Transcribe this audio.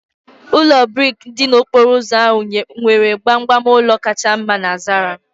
Ụlọ brik dị n'okporo ụzọ ahụ nwere gbamgbam ụlọ kacha mma na Zaria